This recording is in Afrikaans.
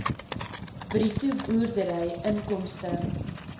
bruto boerdery inkomste